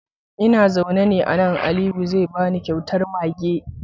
Ina zaune a nan, Aliyu ne zai bani kyautar mage.